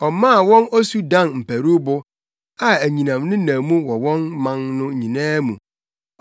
Ɔmaa wɔn osu dan mparuwbo a anyinam nenam mu wɔ ɔman no nyinaa mu;